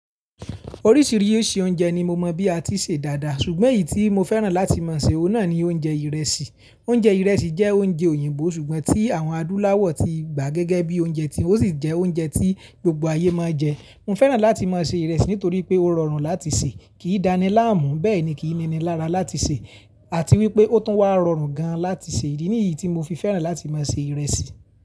Oríṣiríṣi oúnjẹ ni mo mọ̀ bí a ti ṣe dáadáa ṣùgbọ́n èyí tí mo fẹ́ràn láti máa ṣe owó náà ni oúnjẹ ìrẹsì. Oúnjẹ ìrẹsì jẹ́ oúnjẹ òyìnbó ṣùgbọ́n tí àwọn adúláwọ̀ ti gbà gẹ́gẹ́ bíi oúnjẹ tíwọn ó sì jẹ oúnjẹ tí gbogbo ayé máa ń jẹ. Mo fẹ́ràn láti máa ṣe ìrẹsì nítorí pé ó rọrùn láti ṣe, kì í dani láàmú, bẹ́ẹ̀ ni kì í nini lára láti ṣe àti wípé ó tún wá rọrùn gán láti ṣe. Ìdí nìyí tí mo fi fẹ́ràn láti máa ṣe ìrẹsì.